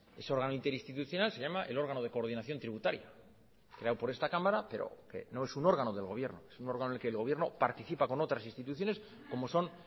ese órgano interinstitucional se llama el órgano de coordinación tributaria creado por esta cámara pero que no es un órgano del gobierno es un órgano en el que el gobierno participa con otras instituciones como son